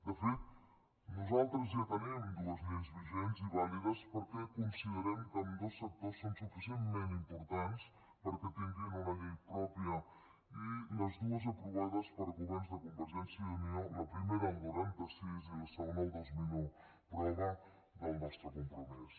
de fet nosaltres ja tenim dues lleis vigents i vàlides perquè considerem que ambdós sectors són suficientment importants com perquè tinguin una llei pròpia i totes dues aprovades per governs de convergència i unió la primera el noranta sis i la segona el dos mil un prova del nostre compromís